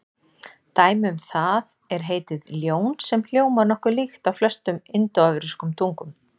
Dæmi um það er heitið ljón sem hljómar nokkuð líkt á flestum indóevrópskum tungum.